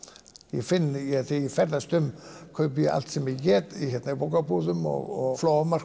ég finn þegar ég ferðast um kaupi ég allt sem ég get í bókabúðum og